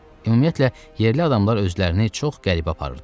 Ümumiyyətlə, yerli adamlar özlərini çox qəribə aparırdılar.